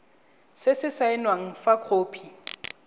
se se saenweng fa khopi